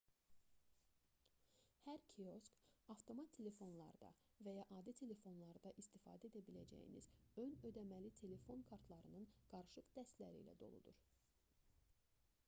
hər kiosk avtomat telefonlarda və ya adi telefonlarda istifadə edə biləcəyiniz ön ödəməli telefon kartlarının qarışıq dəstləri ilə doludur